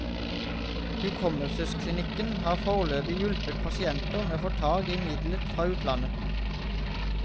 Hukommelsesklinikken har foreløpig hjulpet pasienter med å få tak i middelet fra utlandet.